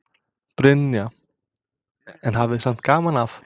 Brynja: En hafið samt gaman af?